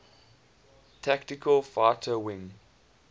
tactical fighter wing